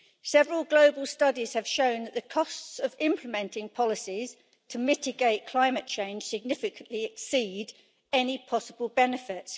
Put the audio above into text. Several global studies have shown that the costs of implementing policies to mitigate climate change significantly exceed any possible benefit.